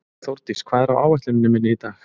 Þórdís, hvað er á áætluninni minni í dag?